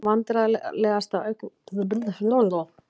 Vandræðalegasta augnablik: Erfitt að segja.